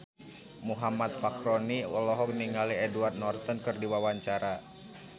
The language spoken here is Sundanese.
Muhammad Fachroni olohok ningali Edward Norton keur diwawancara